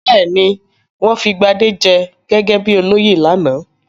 Bẹ́ẹ̀ ni, wọ́n fi Gbadé jẹ gẹ́gẹ́ bí olóyè lánàá.